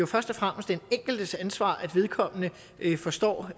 først og fremmest er den enkeltes ansvar at vedkommende forstår